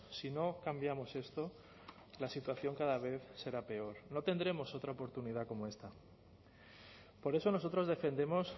si no cambiamos esto la situación cada vez será peor no tendremos otra oportunidad como esta por eso nosotros defendemos